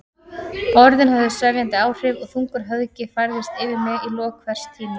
Orðin höfðu sefjandi áhrif og þungur höfgi færðist yfir mig í lok hvers tíma.